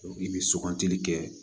i bɛ sugunɛ kɛ